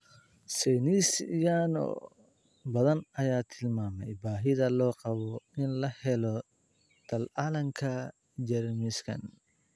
Saynis yahano badan ayaa tilmaamay baahida loo qabo in la helo tallaalka jeermiskan.